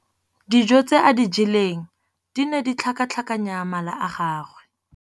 Dijô tse a di jeleng di ne di tlhakatlhakanya mala a gagwe.